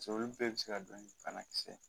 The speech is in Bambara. Pasek'olu bɛɛ be se ka don ni bana kisɛ ye